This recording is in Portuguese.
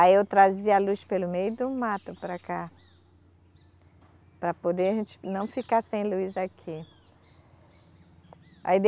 Aí eu trazia a luz pelo meio do mato para cá, para poder a gente não ficar sem luz aqui. Aí